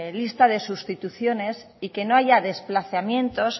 vista de sustituciones y que no haya desplazamientos